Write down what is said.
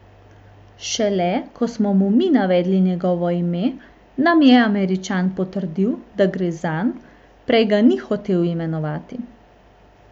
Šele ko smo mu mi navedli njegovo ime, nam je Američan potrdil, da gre zanj, prej ga ni hotel imenovati.